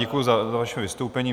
Děkuji za vaše vystoupení.